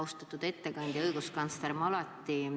Austatud ettekandja, õiguskantsler!